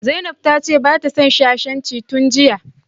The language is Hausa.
Zainab ta ce hanci tun jiya